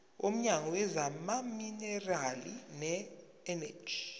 womnyango wezamaminerali neeneji